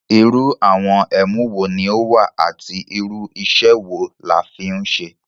Irú àwọn ẹ̀mú wo ní ó wà àti irú iṣẹ́ wo la fi ń ṣe?